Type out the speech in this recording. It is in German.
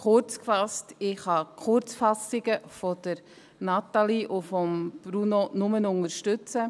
Kurzgefasst: Ich kann die Kurzfassungen von Natalie Imboden und Bruno Vanoni nur unterstützen.